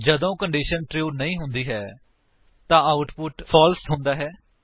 ਜੇਕਰ condition true ਨਹੀਂ ਹੁੰਦੀ ਹੈ ਤਾਂ ਆਉਟਪੁਟ ਫਾਲਸ ਹੁੰਦਾ ਹੈ